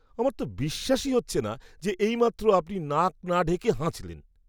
আমার তো বিশ্বাসই হচ্ছে না যে এইমাত্র আপনি নাক না ঢেকে হাঁচলেন!